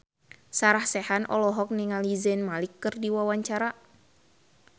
Sarah Sechan olohok ningali Zayn Malik keur diwawancara